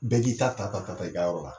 Bɛɛ k'i ta ta ta ta ta i ka yɔrɔ la